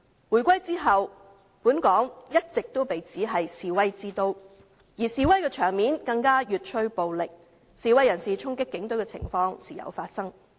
回歸後，本港一直被指為示威之都，而示威場面更越趨暴力，示威人士衝擊警隊的情況時有發生。